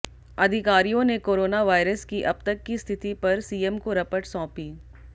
अधिकारियों ने corona virus की अब तक की स्थिति पर सीएम को रपट सौंपी